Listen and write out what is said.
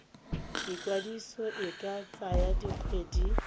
ikwadiso e ka tsaya dikgwedi